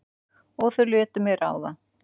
Og þau létu mig ráða.